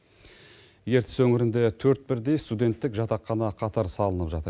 ертіс өңірінде төрт бірдей студенттік жатақхана қатар салынып жатыр